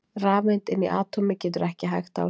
Rafeind inni í atómi getur ekki hægt á sér!